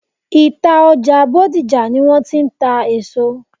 Ìta ọjà Bódìjà ni wọ́n ti ń ta èso.